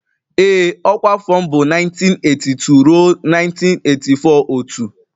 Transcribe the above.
Ee ọkwa afọ m bụ 1982 ruo 1984 otu